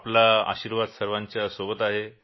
आपला आशिर्वाद सर्वाच्या सोबत आहे